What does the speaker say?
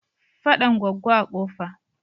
Faɗan Goggo a Kofa.